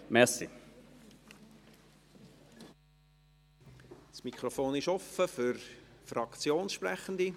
Das Mikrofon ist offen für Fraktionssprechende;